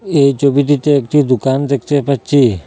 এই চবিটিতে একটি দুকান দেখতে পাচ্চি।